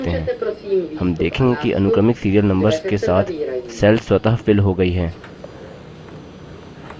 हम देखेंगे कि अनुक्रमिक serial numbers के साथ cells स्वतः filled हो गई हैं